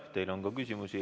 Teile on ka küsimusi.